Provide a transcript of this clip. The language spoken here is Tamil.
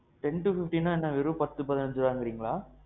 ten to fifteenனா என்ன? வெறும் பத்து பதினஞ்சு ரூவான்றிங்களா?